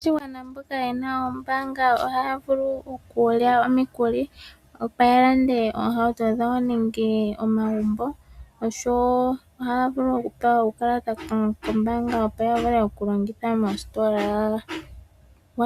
Aakwashigwan mboka yena oombanga ohaya vulu okulya omikuli, opo yalande oohauto dhawo nenge omagumbo, osho wo ohaya vulu oku pewa uukalata koombanga opo ya vule oku longitha moositola.